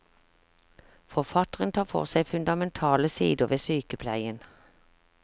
Forfatteren tar for seg fundamentale sider ved sykepleien.